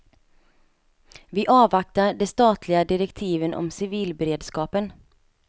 Vi avvaktar de statliga direktiven om civilberedskapen.